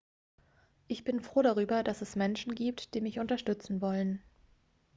ich bin froh darüber dass es menschen gibt die mich unterstützen wollen